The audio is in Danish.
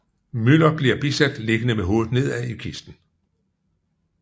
Müller bliver bisat liggende med hovedet nedad i kisten